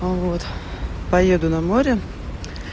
вот поеду на море